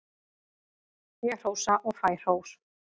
Ég hrósa og fæ hrós.